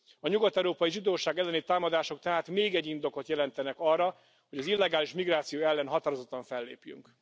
A nyugat európai zsidóság elleni támadások tehát még egy indokot jelentenek arra, hogy az illegális migráció ellen határozottan fellépjünk.